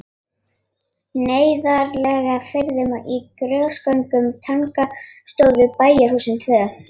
Neðarlega í firðinum, á grösugum tanga, stóðu svo bæjarhúsin tvö.